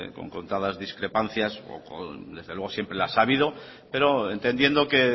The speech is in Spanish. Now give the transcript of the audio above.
con contadas discrepancias o con desde luego siempre las ha habido pero entendiendo que